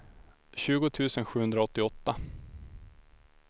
tjugo tusen sjuhundraåttioåtta